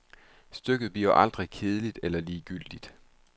Stykket bliver aldrig kedeligt eller ligegyldigt.